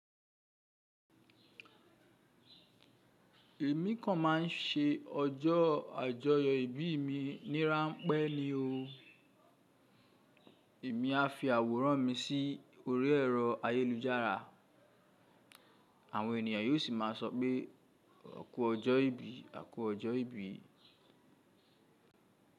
Èmi kan máà ń se ọjọ́ àjọyọ̀ ìbí mi ní ráńpẹ́ ni o. Èmi a fi àwòrán mi sí orí ẹ̀rọ ayélujára, àwọn ènìyàn yóò sì má a sọ pé 'a ku ọjọ́ ìbí, à ku ọjọ́ ìbí.'